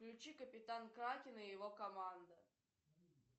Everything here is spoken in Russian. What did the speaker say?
включи капитан кракен и его команда